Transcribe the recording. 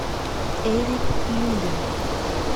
эрик люлин